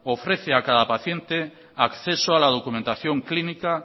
ofrece a cada paciente acceso a la documentación clínica